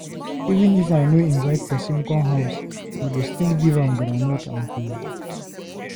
Even if I no inivte pesin come house, I go still give am groundnut and kola nut.